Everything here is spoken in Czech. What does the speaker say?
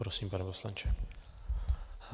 Prosím, pane poslanče.